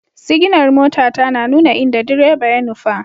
Siginar motata na nuna inda direba ya nufa.